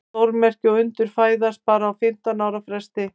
Stórmerki og undur fæðast bara á fimmtán ára fresti.